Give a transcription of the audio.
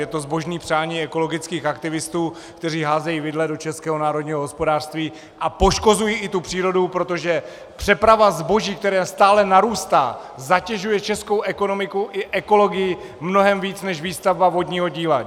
Je to zbožné přání ekologických aktivistů, kteří házejí vidle do českého národního hospodářství a poškozují i tu přírodu, protože přeprava zboží, která stále narůstá, zatěžuje českou ekonomiku i ekologii mnohem víc než výstavba vodního díla.